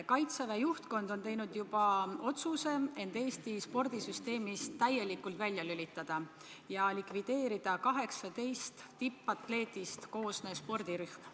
Kaitseväe juhtkond on teinud juba otsuse end Eesti spordisüsteemist täielikult välja lülitada ja likvideerida 18 tippatleedist koosnev spordirühm.